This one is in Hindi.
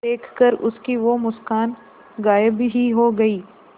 देखकर उसकी वो मुस्कान गायब ही हो गयी